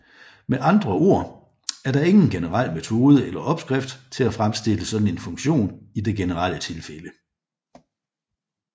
Med andre ord er der ingen generel metode eller opskrift til at fremstille sådan en funktion i det generelle tilfælde